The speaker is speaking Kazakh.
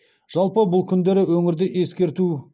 жалпы бұл күндері өңірде ескерту